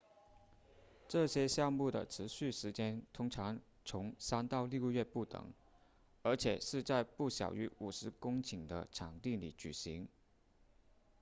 这些项目的持续时间通常从三到六个月不等而且是在不小于50公顷的场地里举行